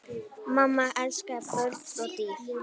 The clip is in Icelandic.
Mamma elskaði börn og dýr.